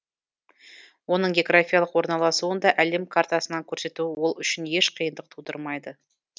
оның географиялық орналасуын да әлем картасынан көрсету ол үшін еш қиындық тудырмайды